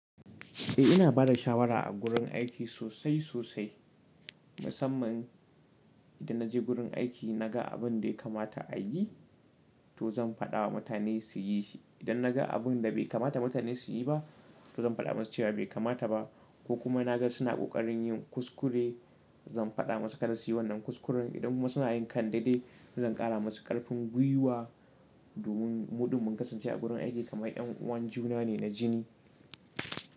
Eh ina bada shawara a gurin aiki sosai sosai, musamman idan naje gurin aiki naga abun dai kamata a yi to zan faɗawa mutane su yi shi. Idan naga abun da bai kamata mutane su yi ba to zan faɗa musu cewa bai kamata ba ko kuma naga suna ƙoƙarin yin kuskure zan faɗa musu kada su yi wannan kuskuren. Idan kuma suna yin kan daidai to zan ƙara musu ƙarfin gwiwa domin mu ɗin mun kasance a gurin aiki kamar yan uwan juna ne na jini.